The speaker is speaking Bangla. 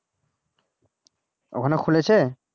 ওখানে খুলেছে?